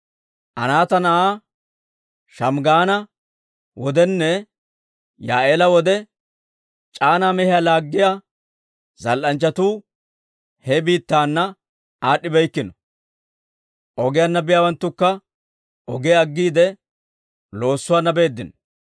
«Anaata na'aa Shamggaana wodenne, Yaa'eela wode c'aanaa mehiyaa laaggiyaa, zal"anchchatuu he biittaana aad'd'ibeykkino. Ogiyaanna biyaawanttukka ogiyaa aggiide, loossuwaana beeddino.